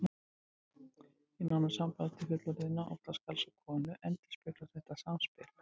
Í nánu sambandi fullorðinna, oftast karls og konu, endurspeglast þetta samspil.